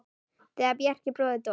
Þegar Bjarki bróðir dó.